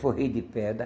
Forrei de pedra.